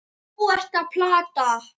Þú ert að plata.